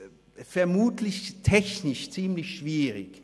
Vermutlich wird es technisch ziemlich schwierig: